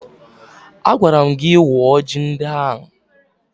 Agwara m gị wuo ji ndị ahụ!